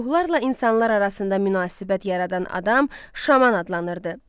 Ruhlarla insanlar arasında münasibət yaradan adam şaman adlanırdı.